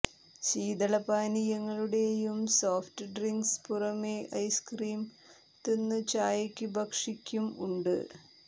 ശീതളപാനീയങ്ങളുടെയും soft drinks പുറമേ ice cream തിന്നു ചായക്കു ഭക്ഷിക്കും ഉണ്ട്